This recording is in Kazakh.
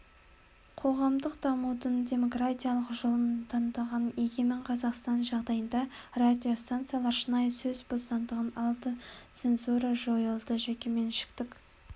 қоғамдық дамудың демократиялық жолын таңдаған егемен қазақстан жағдайында радиостанциялар шынайы сөз бостандығын алды цензура жойылды жекеменшіктік